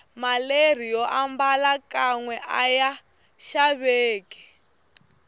maleri yombala kanwe aya xaveki